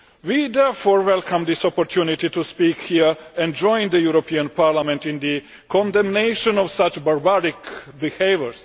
We therefore welcome this opportunity to speak here and join the European Parliament in the condemnation of such barbaric behaviour.